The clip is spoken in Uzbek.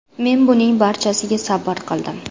Men buning barchasiga sabr qildim.